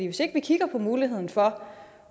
hvis ikke vi kigger på muligheden for